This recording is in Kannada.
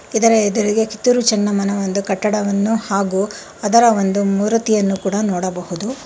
ಇದರ ಎದ್ರುಗೆ ಕಿತ್ತೂರು ಚೆನ್ನಮ್ಮನ ಒಂದು ಕಟ್ಟಡವನ್ನು ಹಾಗೂ ಅದರ ಒಂದು ಮೂರ್ತಿಯನ್ನು ಕೂಡ ನೋಡಬಹುದು.